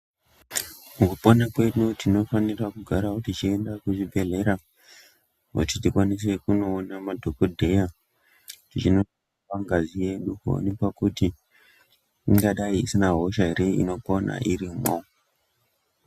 Mukupona kwedu tinofanirawo kugaraawo techienda kuzvibhehleya kuti tikwanise kunoona madhokodheya tichinoonekwa ngazi yedu kuoonekwa kuti ingadai isina hosha ere inopona irimwo.